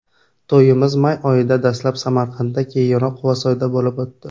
To‘yimiz may oyida dastlab Samarqandda, keyinroq Quvasoyda bo‘lib o‘tdi.